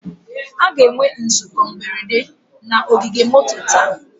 A ga-enwe nzukọ mberede na ogige moto taa